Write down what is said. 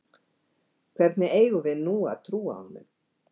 Hvernig eigum við nú að trúa honum?